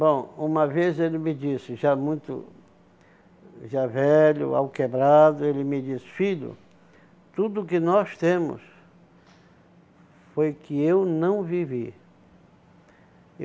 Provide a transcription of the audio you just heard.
Bom, uma vez ele me disse, já muito já velho, ao quebrado, ele me disse, filho, tudo que nós temos foi que eu não vivi.